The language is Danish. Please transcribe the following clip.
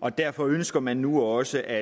og derfor ønsker man nu også at